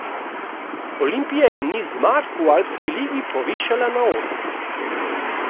Olimpija je niz zmag v Alpski ligi povišala na osem.